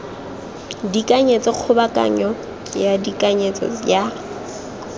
tekanyetso kgobokanyo ya tekanyetso ya